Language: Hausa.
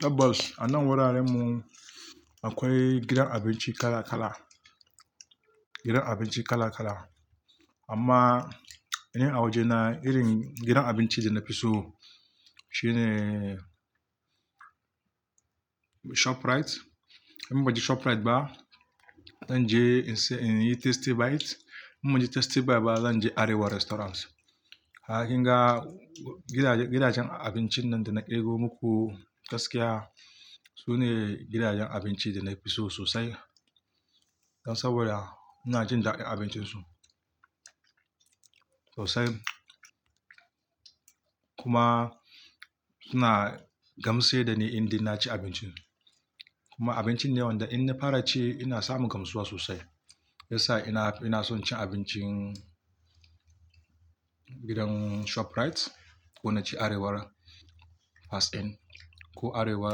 Tabbas, a nan wuraren mu akwai gidan abinci kala kala, gidan abinci kala kala. Amma, in a waje na irin gidan abinci da na fi so shine Shoprite. In ban je Shoprite ba, zan je Tasty Bite. In ban je Tasty Bite ba, zan je Arewa Restaurant. Ha kinga gidajen abinci nan da na kirgo muku gaskiya, sune gidajen abinci da na fi so sosai. Dan saboda ina jin daɗin abincin su sosai kuma suna gamshe da ni indai na cin abinci. Kuma abincin ne wanda in na fara ci ina samu gamsuwa sosai. Ya sa ina son cin abincin gidan Shoprite ko na ci Arewa Fast Food ko Arewa